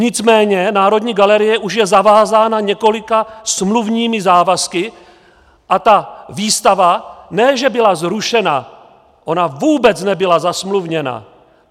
Nicméně Národní galerie už je zavázána několika smluvními závazky a ta výstava ne že byla zrušena, ona vůbec nebyla zasmluvněna.